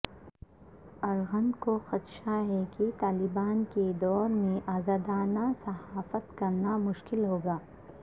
ارغند کو خدشہ ہے کہ طالبان کے دور میں ازادانہ صحافت کرنا مشکل ہوگا